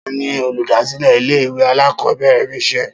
Ta ni olùdásílè ilé ìwé alákòóbèrè Rachael?